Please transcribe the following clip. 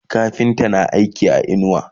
kafinta na aiki a inuwa